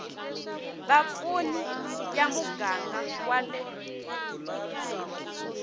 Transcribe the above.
vapfuni ya muganga wa le